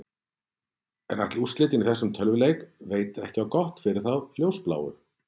En ætli úrslitin í þessum tölvuleik veiti á gott fyrir þá ljósbláu?